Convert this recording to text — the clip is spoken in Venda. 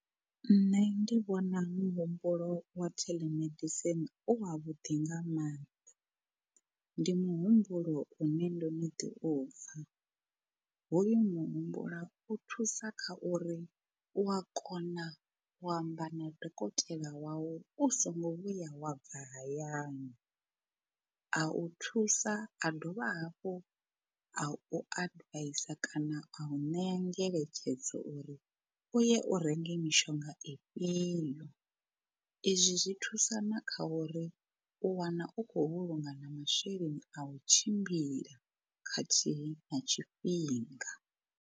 Nṋe ndi vhona muhumbulo wa telemedicine u wa vhuḓi nga maanḓa, ndi muhumbulo une ndono ḓi upfa, hoyu muhumbulo u thusa kha uri u a kona u amba na dokotela wau u so ngo vhuya wa bva hayani a u thusa a dovha hafhu a u advisor kana a u ṋea ngeletshedzo uri u ye u renge mishonga ifhio. Izwi zwi thusa na kha uri u wana u khou vhulunga na masheleni a u tshimbila khathihi na tshifhinga.